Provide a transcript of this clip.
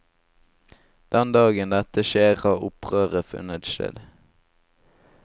Den dagen dette skjer har opprøret funnet sted.